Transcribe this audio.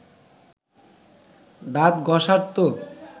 দাঁত ঘষার তো